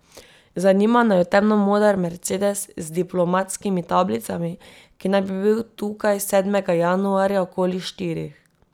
Zanima naju temno moder mercedes z diplomatskimi tablicami, ki naj bi bil tukaj sedmega januarja okoli štirih.